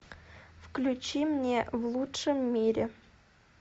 включи мне в лучшем мире